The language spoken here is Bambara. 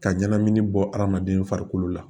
Ka ɲɛnamini bɔ hadamaden farikolo la